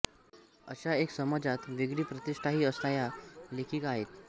अशा एक समाजात वेगळी प्रतिष्ठाही असणाया लेखिका आहेत